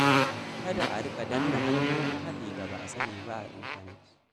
Kada a riƙa danna hanyoyin haɗi da ba a sani ba a intanet.